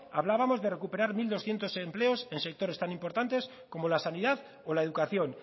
hablábamos de recuperar mil doscientos empleos en sectores tan importantes como la sanidad o la educación